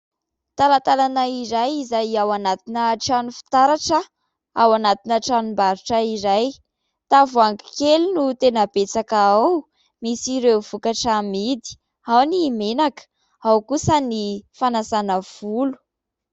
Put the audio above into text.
Talatalana iray izay ao anatina trano fitaratra, ao anatina tranom-barotra izay. Tavoangy kely no tena betsaka ao, misy ireo vokatra hamidy ao ny menaka ao kosa ny fanasana volo.